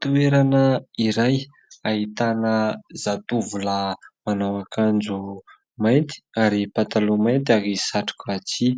Toerana iray ahitana zatovolahy manao akanjo mainty ary pataloha mainty ary satroka tsihy.